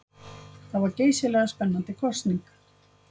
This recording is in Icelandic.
Það var geysilega spennandi kosning.